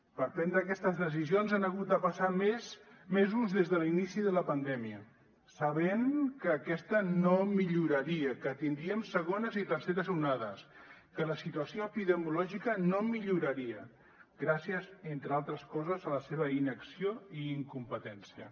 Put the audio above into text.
per prendre aquestes decisions han hagut de passar mesos des de l’inici de la pandèmia sabent que aquesta no milloraria que tindríem segones i terceres onades que la situació epidemiològica no milloraria gràcies entre altres coses a la seva inacció i incompetència